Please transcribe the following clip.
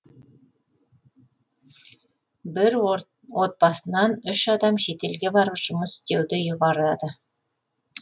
бір отбасынан үш адам шетелге барып жұмыс істеуді ұйғарады